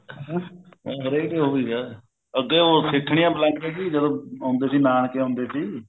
ਹਰੇਕ ਇਹੋ ਚੀਜ਼ ਆ ਅੱਗੇ ਉਹ ਸੀਠਨੀਆ ਬੁਲਾਉਂਦੇ ਸੀ ਜਦੋਂ ਆਉਂਦੇ ਸੀ ਨਾਨਕੇ ਆਉਂਦੇ ਸੀ